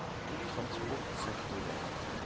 transportsektoren